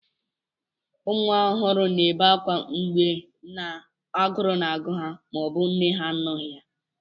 ụmụ ọhụrụ na-ebe akwa mgbe agụụ na-agụ ha ma ọ bụ mgbe nne ha na-anọghị ya